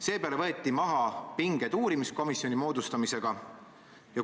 Seepeale võeti uurimiskomisjoni moodustamisega pinged maha.